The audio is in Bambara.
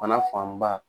Fana fanba